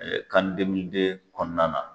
Ɛɛ kani demilide kɔnɔna na